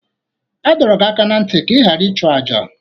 A dọrọ gị aka ná ntị ka ị ghara ịchụ àjà!